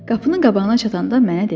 Qapının qabağına çatanda mənə dedi.